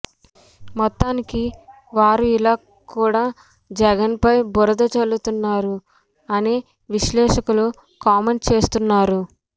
మొత్తానికి వారు ఇలా కూడా జగన్ పై బురద జల్లుతున్నారు అని విశ్లేషకులు కామెంట్ చేస్తున్నారు